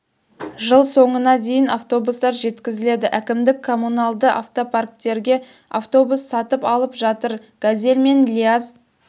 жыл соңына дейін жаңа автобустар жеткізіледі әкімдік коммуналды автопарктерге автобус сатып алып жатыр газель мен лиаз